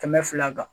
Kɛmɛ fila kan